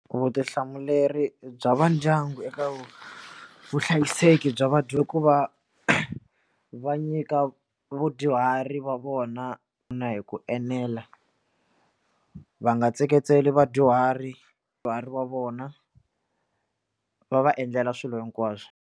Vutihlamuleri bya va ndyangu eka vuhlayiseki bya vadya ku va va nyika vadyuhari va vona na hi ku enela va nga tsekatseki vadyuhari vadyuhari va vona va va endlela swilo hinkwaswo.